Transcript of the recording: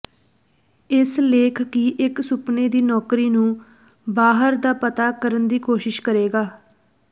ਇਸ ਲੇਖ ਕੀ ਇੱਕ ਸੁਪਨੇ ਦੀ ਨੌਕਰੀ ਨੂੰ ਬਾਹਰ ਦਾ ਪਤਾ ਕਰਨ ਦੀ ਕੋਸ਼ਿਸ਼ ਕਰੇਗਾ